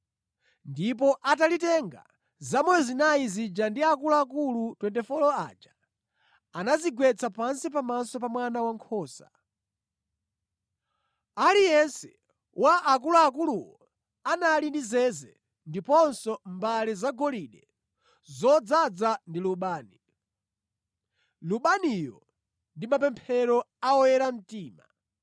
Ndipo atalitenga, zamoyo zinayi zija ndi akuluakulu 24 aja anadzigwetsa pansi pamaso pa Mwana Wankhosa. Aliyense wa akuluakuluwo anali ndi zeze ndiponso mbale zagolide zodzaza ndi lubani. Lubaniyo ndi mapemphero a oyera mtima.